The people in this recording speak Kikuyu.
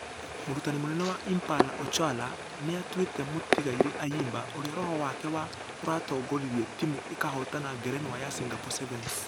Mũrutani mũnene wa impala ocholla nĩatuĩte mũtigaire ayimba ....ũrĩa roho wake wa ......ũratongoririe timũ ĩkĩhotana ngerenwa ya singapore sevens.